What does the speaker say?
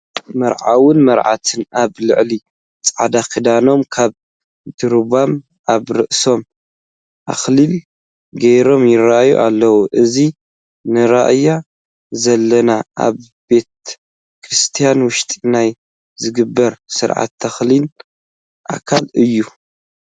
መርዓውን መርዓትን ኣብ ልዕሊ ፃዕዳ ክዳኖም ካባ ደሪቦም ኣብ ርእሶም ኣክሊል ገይሮም ይርአዩ ኣለዉ፡፡ እዚ ንሪኦ ዘለና ኣብ ቤተ ክርስቲያን ውሽጢ ናይ ዝግበር ስርዓተ ተክሊል ኣካል እዩ፡፡